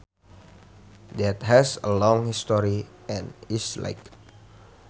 that has a long history and is liked